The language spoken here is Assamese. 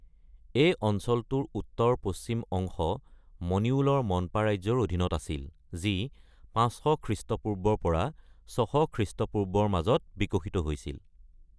এই অঞ্চলটোৰ উত্তৰ-পশ্চিম অংশ মনিউলৰ মনপা ৰাজ্যৰ অধীনত আছিল, যি ৫০০ খৃষ্টপূৰ্বৰ পৰা ৬০০ খৃষ্টপূৰ্বৰ মাজত বিকশিত হৈছিল।